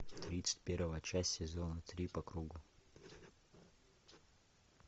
тридцать первая часть сезона три по кругу